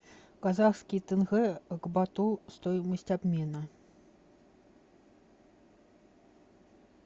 казахский тенге к бату стоимость обмена